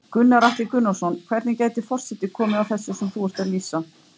Gunnar Atli Gunnarsson: Hvernig gæti forseti komið að þessu sem þú ert að lýsa?